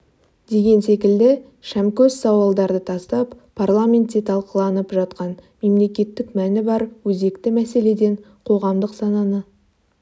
деген секілді шамкөс сауалдарды тастап парламентте талқыланып жатқан мемлекеттік мәні бар өзекті мәселеден қоғамдық сананы